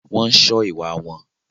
Wọ́n ń sọ́ ìwà wọn.